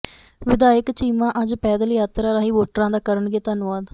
ਵਿਧਾਇਕ ਚੀਮਾ ਅੱਜ ਪੈਦਲ ਯਾਤਰਾ ਰਾਹੀਂ ਵੋਟਰਾਂ ਦਾ ਕਰਨਗੇ ਧੰਨਵਾਦ